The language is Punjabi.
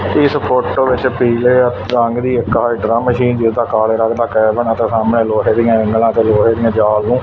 ਇਸ ਫੋਟੋ ਵਿੱਚ ਪੀਲੇ ਰੰਗ ਦੀ ਇੱਕ ਹਾਈਡਰਾ ਮਸ਼ੀਨ ਜਿਦਾ ਕਾਲੇ ਰੰਗ ਦਾ ਕੈਬਨ ਅਤੇ ਸਾਹਮਣੇ ਲੋਹੇ ਦੀਆਂ ਐਂਗਲਾ ਤੇ ਲੋਹੇ ਦੀਆਂ ਜਾਲੀਆ--